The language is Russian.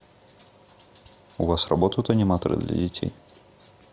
у вас работают аниматоры для детей